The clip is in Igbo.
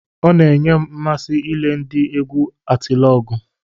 Ọ na-enye m mmasị ile ndị egwu Atilọgwụ.